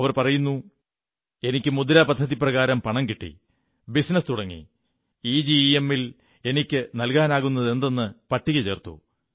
അവർ പറയുന്നു എനിക്ക് മുദ്ര പദ്ധതിപ്രകാരം പണം കിട്ടി ബിസിനസ് തുടങ്ങി ഇജെമ്മിൽ എനിക്ക് നല്കാനാകുന്നതെന്തെന്ന് പട്ടിക ചേർത്തു